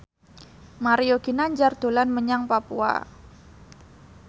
Mario Ginanjar dolan menyang Papua